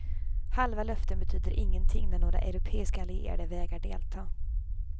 Halva löften betyder ingenting när några europeiska allierade vägrar delta.